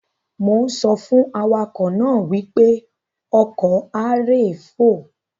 Mo ń sọ fún awakọ̀ náà wípé "ọkọ̀ a ré fò".